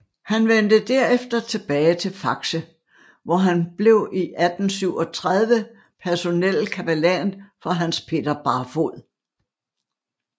Han vendte derefter tilbage til Faxe hvor han blev i 1837 blev personel kapellan for Hans Peter Barfod